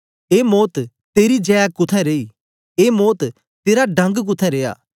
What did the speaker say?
ए मौत तेरी जै कुत्थें रेई ए मौत तेरा डंग कुत्थें रिया